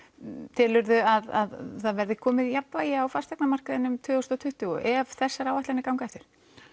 telur þú að það verði komið jafnvægi á fasteignamarkaðinn um tvö þúsund og tuttugu ef þessar áætlanir ganga eftir